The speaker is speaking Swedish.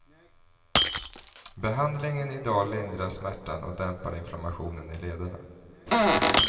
Behandlingen i dag lindrar smärtan och dämpar inflammationen i lederna.